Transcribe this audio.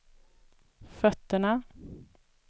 fötterna